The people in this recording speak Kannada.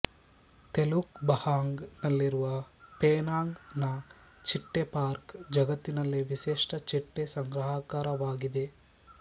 ತೆಲುಕ್ ಬಹಂಗ್ ನಲ್ಲಿರುವ ಪೆನಾಂಗ್ ನ ಚಿಟ್ಟೆ ಪಾರ್ಕ್ ಜಗತ್ತಿನಲ್ಲೇ ವಿಶೇಷ ಚಿಟ್ಟೆ ಸಂಗ್ರಾಹಾಕಾರವಾಗಿದೆ